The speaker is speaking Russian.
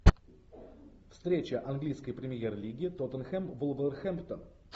встреча английской премьер лиги тоттенхэм вулверхэмптон